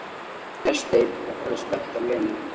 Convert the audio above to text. spyr Vésteinn og horfir spenntur á Lenu.